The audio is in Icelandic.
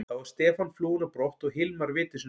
Þá var Stefán flúinn á brott og Hilmar viti sínu fjær.